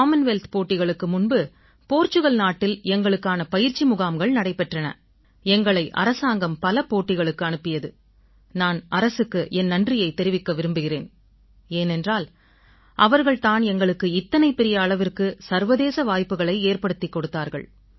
Commonwealth போட்டிகளுக்கு முன்பு Portugal நாட்டில் எங்களுக்கான பயிற்சி முகாம்கள் நடைபெற்றன எங்களை அரசாங்கம் பல போட்டிகளுக்கு அனுப்பியது நான் அரசுக்கு என் நன்றிகளைத் தெரிவிக்க விரும்புகிறேன் ஏனென்றால் அவர்கள் தான் எங்களுக்கு இத்தனை பெரிய அளவுக்கு சர்வதேச வாய்ப்புகளை ஏற்படுத்திக் கொடுத்தார்கள்